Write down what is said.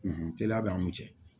teliya b'an ni cɛ